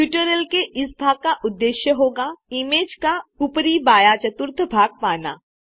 tutorial के इस भाग का उद्देश्य होगा इमेज का ऊपरी बायाँ चतुर्थ भाग पाना